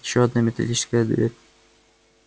ещё одна металлическая дверь